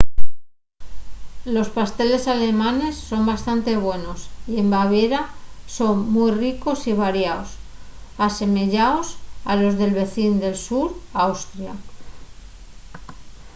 los pasteles alemanes son bastante buenos y en baviera son mui ricos y variaos asemeyaos a los del vecín del sur austria